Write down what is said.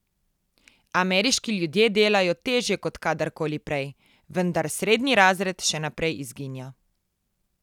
Ameriški ljudje delajo težje kot kadarkoli prej, vendar srednji razred še naprej izginja.